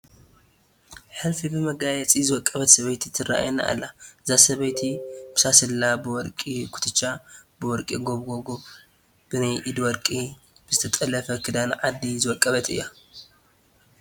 ሕልፊ ብመጋየፂ ዝወቀበት ሰበይቲ ትርአየና ኣላ፡፡ እዛ ሰበይቲ ብሳስላ፣ ብወርቂ ኩትቻ፡ ብወርቂ ጎባጉብ ፣ ብናይ ኢድ ወርቂ፣ ብዝተጠለፈ ክዳን ዓዲ ዝወቀበት እያ፡፡